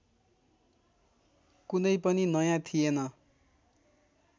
कुनै पनि नयाँ थिएन